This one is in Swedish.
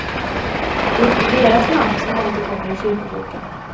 Det är inte deras namn som återkommer i kyrkoboken.